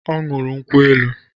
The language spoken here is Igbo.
Ọ ñụrụ nkwu elu